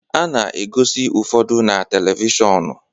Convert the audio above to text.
A na-egosi ụfọdụ na televishọnu